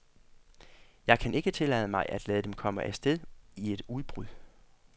Jeg kan ikke tillade mig at lade dem komme af sted i et udbrud.